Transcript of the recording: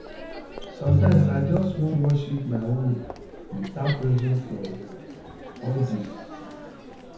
sometimes i just wan worship my own way without pressure from odirs